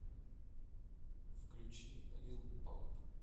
включи лил памп